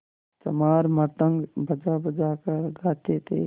चमार मृदंग बजाबजा कर गाते थे